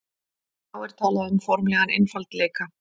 þá er talað um formlegan einfaldleika